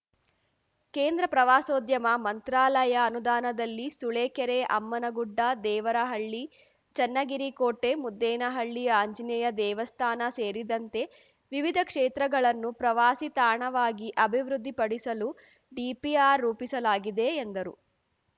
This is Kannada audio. ಕೇಂದ್ರ ಪ್ರವಾಸೋದ್ಯಮ ಮಂತ್ರಾಲಯ ಅನುದಾನದಲ್ಲಿ ಸೂಳೆಕೆರೆ ಅಮ್ಮನಗುಡ್ಡ ದೇವರಹಳ್ಳಿ ಚನ್ನಗಿರಿ ಕೋಟೆ ಮುದ್ದೇನಹಳ್ಳಿ ಆಂಜನೇಯ ದೇವಸ್ಥಾನ ಸೇರಿದಂತೆ ವಿವಿಧ ಕ್ಷೇತ್ರಗಳನ್ನು ಪ್ರವಾಸಿ ತಾಣವಾಗಿ ಅಭಿವೃದ್ಧಿಪಡಿಸಲು ಡಿಪಿಆರ್‌ ರೂಪಿಸಲಾಗಿದೆ ಎಂದರು